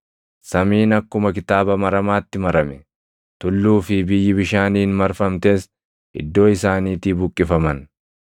Samiin akkuma kitaaba maramaatti marame; tulluu fi biyyi bishaaniin marfamtes iddoo isaaniitii buqqifaman.